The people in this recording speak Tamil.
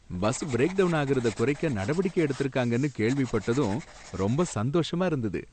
பஸ் பிரேக்டவுன் ஆகுறத குறைக்க நடவடிக்கை எடுத்திருக்காங்கன்னு கேள்விப்பட்டதும் ரொம்ப சந்தோஷமா இருந்தது